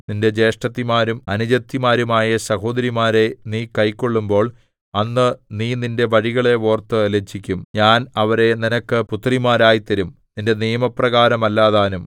നിന്റെ ജ്യേഷ്ഠത്തിമാരും അനുജത്തിമാരുമായ സഹോദരിമാരെ നീ കൈക്കൊള്ളുമ്പോൾ അന്ന് നീ നിന്റെ വഴികളെ ഓർത്തു ലജ്ജിക്കും ഞാൻ അവരെ നിനക്ക് പുത്രിമാരായി തരും നിന്റെ നിയമപ്രകാരമല്ലതാനും